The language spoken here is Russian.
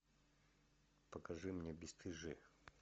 покажи мне бесстыжие